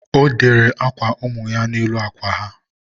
ọ dere akwa ụmụ ya n'elu akwa ha.